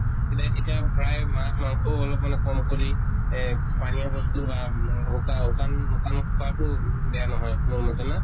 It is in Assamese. এতিয়া এতিয়া প্ৰায় মাছ মাংসও অলপ্মান কম কৰি এ পানীয়া বস্তু বা শু শুকান শুকান খোৱাতো বেয়া নহয়, মোৰ মতে না?